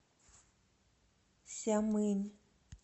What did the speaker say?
сямынь